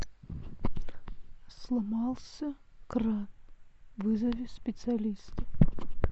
сломался кран вызови специалиста